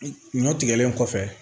Ɲɔ tigɛlen kɔfɛ